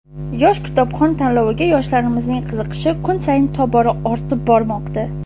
"Yosh kitobxon" tanloviga yoshlarimizning qiziqishi kun sayin tobora ortib bormoqda.